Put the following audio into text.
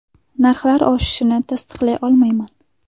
Narxlar oshishini tasdiqlay olmayman.